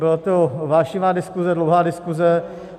Byla to vášnivá diskuze, dlouhá diskuze.